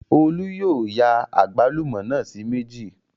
Olú yóò ya àgbálùmọ́ náà sí méjì